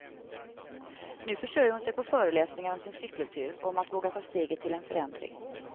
Nu försörjer hon sig på föreläsningar om sin cykeltur och om att våga ta steget till en förändring.